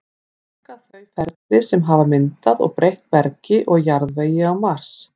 túlka þau ferli sem hafa myndað og breytt bergi og jarðvegi á mars